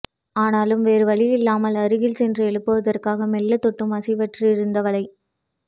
ஆனாலும் வேறு வழியில்லாமல் அருகில் சென்று எழுப்புவதற்காக மெல்ல தொட்டும் அசைவற்றிருந்தவளை